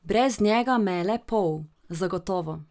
Brez njega me je le pol, zagotovo.